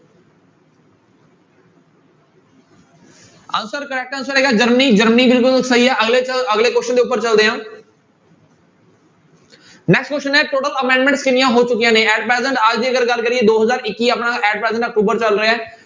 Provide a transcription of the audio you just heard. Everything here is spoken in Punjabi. Answer correct answer ਆਏਗਾ ਜਰਮਨੀ ਜਰਮਨੀ ਬਿਲਕੁਲ ਸਹੀ ਆ ਅਗਲੇ ਚਲ ਅਗਲੇ question ਦੇ ਉੱਪਰ ਚੱਲਦੇ ਹਾਂ next question ਹੈ total amendment ਕਿੰਨੀਆਂ ਹੋ ਚੁੱਕੀਆਂ ਨੇ at present ਅੱਜ ਦੀ ਅਗਰ ਗੱਲ ਕਰੀਏ ਦੋ ਹਜ਼ਾਰ ਇੱਕੀ ਆਪਣਾ at present ਅਕਤੂਬਰ ਚੱਲ ਰਿਹਾ ਹੈ।